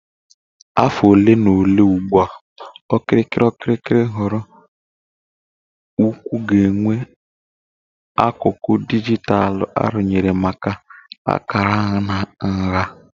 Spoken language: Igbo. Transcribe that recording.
afọ ole na ole ugbu a, okirikiri okirikiri nhọrọ ukwuu ga-enwe akụkụ dijitalụ arụnyere maka akara na nha.